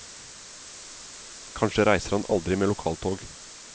Kanskje reiser han aldri med lokaltog.